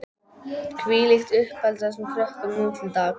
Hvílíkt uppeldi á þessum krökkum nú til dags!